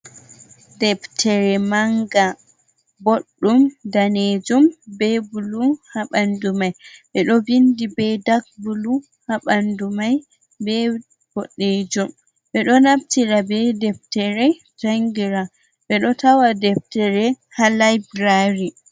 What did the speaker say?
Deftere manga boɗɗum danejum be bulu ha bandu mai. ɓeɗo vindi be dak bulu ha bandu mai be boddejum, ɓedo naftira ɓe deftere jangira ɓeɗo tawa deftere ha library.